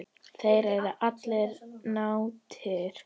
Þeir eru allir látnir.